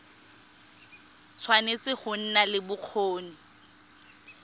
tshwanetse go nna le bokgoni